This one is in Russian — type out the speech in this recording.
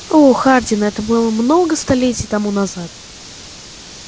о хардин это было много столетий тому назад